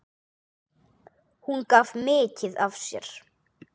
Hún gaf mikið af sér.